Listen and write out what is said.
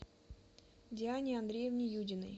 диане андреевне юдиной